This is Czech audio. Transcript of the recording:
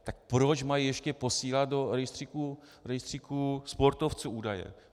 Tak proč mají ještě posílat do rejstříku sportovců údaje?